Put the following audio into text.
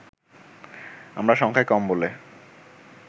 আমরা সংখ্যায় কম বলে